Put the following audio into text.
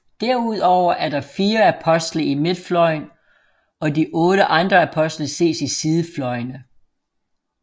Derudover er der fire apostle i midtfløjen og de otte andre apostle ses i sidefløjene